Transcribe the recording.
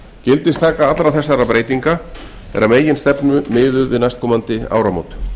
gildistaka allra þessara breytinga er að meginstefnu miðuð við næstkomandi áramót